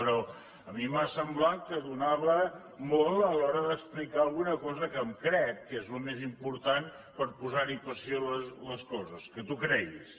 però a mi m’ha semblat que donava molt a l’hora d’explicar alguna cosa que em crec que és el més important per posar hi passió a les coses que t’ho creguis